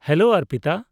Hello, Arpita.